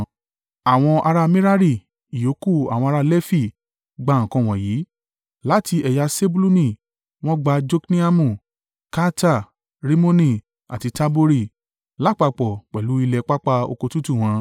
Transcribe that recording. Àwọn ará Merari (ìyókù àwọn ará Lefi) gbà nǹkan wọ̀nyí. Láti ẹ̀yà Sebuluni wọ́n gba Jokneamu, Karta, Rimoni àti Tabori, lápapọ̀ pẹ̀lú ilẹ̀ pápá oko tútù wọn.